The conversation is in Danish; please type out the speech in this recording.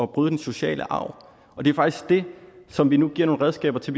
bryde den sociale arv og det er faktisk det som vi nu giver nogle redskaber til